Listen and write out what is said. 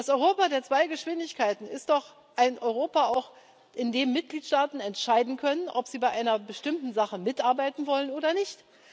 Das Europa der zwei Geschwindigkeiten ist doch auch ein Europa, in dem Mitgliedstaaten entscheiden können, ob sie bei einer bestimmten Sache mitarbeiten wollen oder nicht.